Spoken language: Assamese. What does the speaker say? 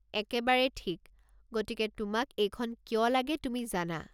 একেবাৰে ঠিক, গতিকে তোমাক এইখন কিয় লাগে তুমি জানা।